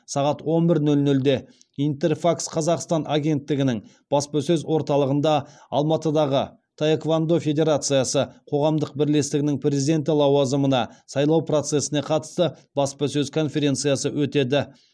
сағат он бір нөл нөлде интерфакс қазақстан агенттігінің баспасөз орталығында алматыдағы таеквондо федерациясы қоғамдық бірлестігінің президенті лауазымына сайлау процесіне қатысты баспасөз конференциясы өтеді